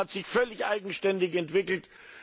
Und China hat sich völlig eigenständig entwickelt.